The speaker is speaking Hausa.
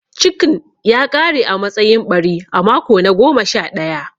Cikn ya ƙare a matsayin ɓari a mako na goma sha ɗaya.